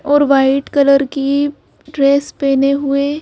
और white colour की dress पहने हुए--